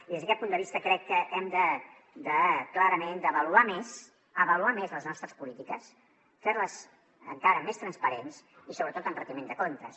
i des d’aquest punt de vista crec que hem clarament d’avaluar més avaluar més les nostres polítiques fer les encara més transparents i sobretot amb retiment de comptes